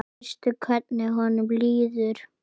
Veistu hvernig honum líður?